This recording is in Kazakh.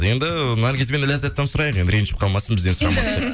енді наргиз бен ләззаттан сұрайық енді ренжіп қалмасын бізден сұрамады деп